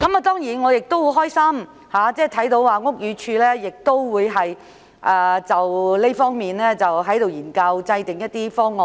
當然，我樂見屋宇署就這方面作研究，制訂一些方案。